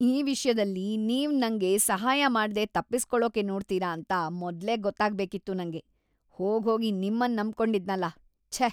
ಈ ವಿಷ್ಯದಲ್ಲಿ ನೀವ್ ನಂಗೆ ಸಹಾಯ ಮಾಡ್ದೇ ತಪ್ಪಿಸ್ಕೊಳಕ್ಕೇ ನೋಡ್ತೀರಾ ಅಂತ ಮೊದ್ಲೇ ಗೊತ್ತಾಗ್ಬೇಕಿತ್ತು ನಂಗೆ, ಹೋಗ್ಹೋಗಿ ನಿಮ್ಮನ್‌ ನಂಬ್ಕೊಂಡಿದ್ನಲ.. ಛೇ!